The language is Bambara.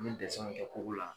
Mɛ dɛsɛnw kɛ kogo la.